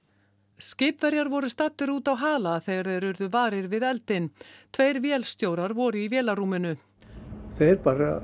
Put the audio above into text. skipverjar voru staddir úti á hala þegar þeir urðu varir við eldinn tveir vélstjórar voru í vélarrúminu þeir